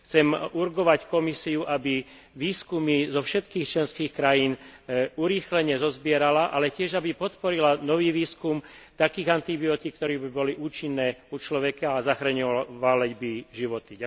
Chcem urgovať Komisiu, aby výskumy zo všetkých členských krajín urýchlene zozbierala, ale tiež aby podporila nový výskum takých antibiotík, ktoré by boli účinné u človeka a zachraňovali by životy.